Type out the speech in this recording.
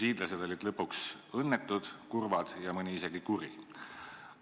Hiidlased olid lõpuks õnnetud, kurvad ja mõni isegi kuri.